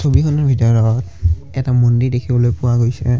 ছবিখনত ভিতৰত এটা মুণ্ডি দেখিবলৈ পোৱা গৈছে।